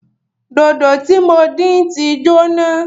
Dòdò tí mo dín tí jóná